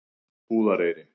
Búðareyri